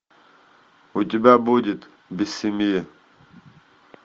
у тебя будет без семьи